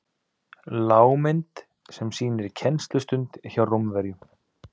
lágmynd sem sýnir kennslustund hjá rómverjum